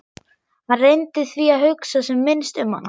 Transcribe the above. Hann reyndi því að hugsa sem minnst um hana.